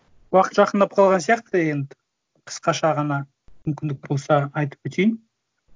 уақыт жақындап қалған сияқты енді қысқаша ғана мүмкіндік болса айтып кетейін